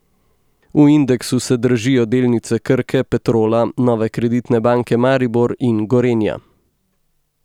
V indeksu se dražijo delnice Krke, Petrola, Nove Kreditne banke Maribor in Gorenja.